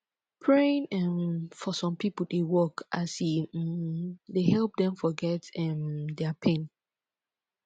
praying um for som pipo dey work as e um dey help dem forget um dia pain